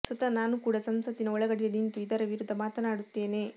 ಸ್ವತಃ ನಾನು ಕೂಡ ಸಂಸತ್ತಿನ ಒಳಗಡೆ ನಿಂತು ಇದರ ವಿರುದ್ಧ ಮಾತನಾಡುತ್ತೇನೆ